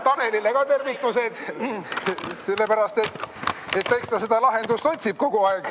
Tanelile ka tervitused, sellepärast et ta ikka seda lahendust otsib kogu aeg.